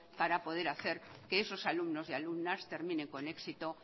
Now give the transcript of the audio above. para poder hacer que esos alumnos y alumnas terminen con éxito